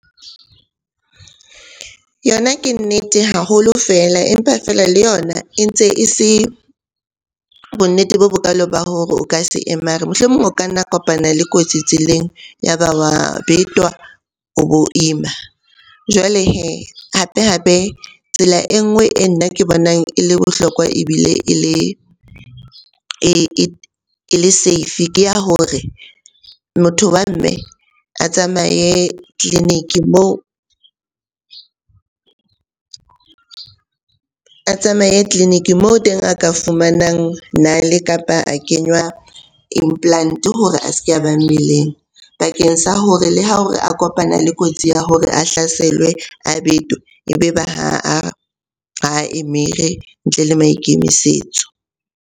Yona ke nnete haholo feel, empa feela le yona e ntse e se bonnete bo bokalo ba hore o ka se emare. Mohlomong o ka nna kopana le kotsi tseleng, ya ba wa betwa o bo ima. Jwale hee hape-hape tsela e nngwe e nna ke bonang e le bohlokwa ebile e le safe ke ya hore motho wa mme a tsamaye tleliniki moo a tsamaye tleliniki moo teng a ka fumanang nale, kapa a kenywa implant-e hore a se ke a ba mmeleng. Bakeng sa hore le ha o re a kopana le kotsi ya hore a hlaselwe, a betwa. Ebe ba ha emere ntle le maikemisetso.